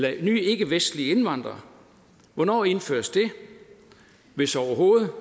af nye ikkevestlige indvandrere hvornår indføres det hvis overhovedet